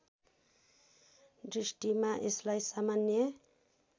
दृष्टिमा यसलाई सामान्य